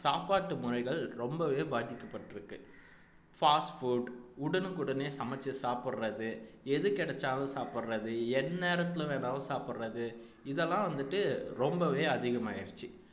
சாப்பாட்டு முறைகள் ரொம்பவே பாதிக்கப்பட்டிருக்கு fast food உடனுக்குடனே சமெச்சு சாப்பிடுறது எது கிடைச்சாலும் சாப்பிடுறது எந்நேரத்துல வேணாலும் சாப்பிடுறது இதெல்லாம் வந்துட்டு ரொம்பவே அதிகமாயிருச்சு